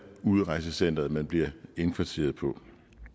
udrejsecenteret man bliver indkvarteret på